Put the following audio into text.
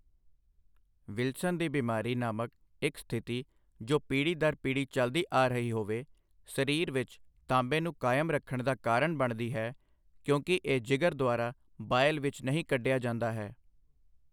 Wilson ਦੀ ਬਿਮਾਰੀ' ਨਾਮਕ ਇੱਕ ਸਥਿਤੀ ਜੋ ਪੀੜ੍ਹੀ ਦਰ ਪੀੜ੍ਹੀ ਚੱਲਦੀ ਆ ਰਹੀ ਹੋਵੇ, ਸਰੀਰ ਵਿੱਚ ਤਾਂਬੇ ਨੂੰ ਕਾਇਮ ਰੱਖਣ ਦਾ ਕਾਰਨ ਬਣਦੀ ਹੈ, ਕਿਉਂਕਿ ਇਹ ਜਿਗਰ ਦੁਆਰਾ ਬਾਇਲ ਵਿੱਚ ਨਹੀਂ ਕੱਢਿਆ ਜਾਂਦਾ ਹੈ।